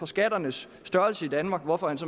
skatternes størrelse i danmark hvorfor